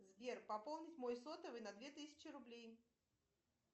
сбер пополнить мой сотовый на две тысячи рублей